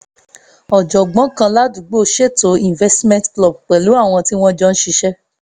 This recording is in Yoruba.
ọ̀jọ̀gbọ́n kan ládùúgbò ṣètò investment club pẹ̀lú àwọn tí wọ́n jọ ṣiṣẹ́